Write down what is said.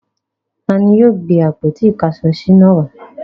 Ta ni yóò gbé àpótí-ìkáṣọsí náà wá?